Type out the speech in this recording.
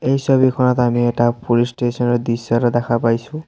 এই ছবিখনত আমি এটা পুলিচ ষ্টেচন ৰ দৃশ্য এটা দেখা পাইছোঁ।